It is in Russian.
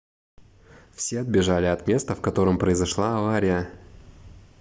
все отбежали от места в котором произошла авария